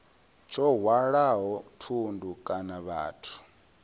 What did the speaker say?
tsho hwalaho thundu kana vhathu